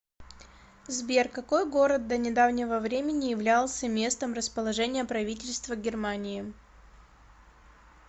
сбер какой город до недавнего времени являлся местом расположения правительства германии